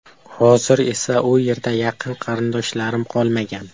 Hozir esa u yerda yaqin qarindoshlarim qolmagan.